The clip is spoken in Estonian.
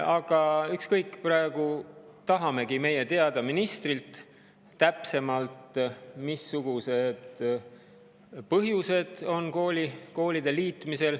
Aga ükskõik, praegu tahame me ministrilt täpsemalt teada, mis põhjusel koolid liidetakse.